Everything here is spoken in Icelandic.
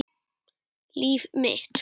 Líf mitt.